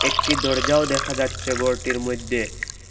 একটি দরজাও দেখা যাচ্ছে গরটির মইধ্যে।